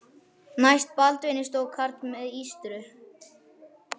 Næst Baldvini stóð karl með ístru.